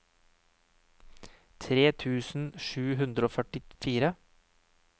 tre tusen sju hundre og førtifire